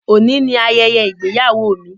Óní ni ayẹyẹ ìgbéyàwó mi.